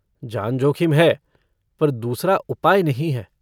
जान जोखिम है पर दूसरा उपाय नहीं है।